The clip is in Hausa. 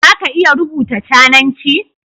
Za ka iya rubuta cananci?